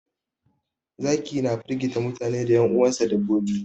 Zaki na firgita mutane da 'yan uwansa dabbobi.